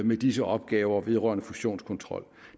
med disse opgaver vedrørende fusionskontrol